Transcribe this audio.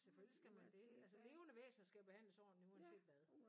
Selvfølgelig skal man det altså levende væsner skal behandles ordentlig uanset hvad